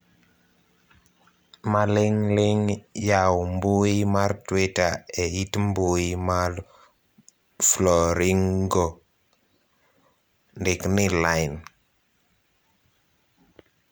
maling'ling yaw mbui mar twita eit mbui mar flooringko, ndik ni lain